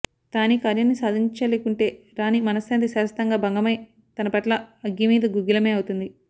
Thani కార్యాన్ని సాధించలేకుంటే రాణి మనశ్శాంతి శాశ్వతంగా భంగమై తన పట్ల అగ్గిమీద గుగ్గిలమే అవుతుంది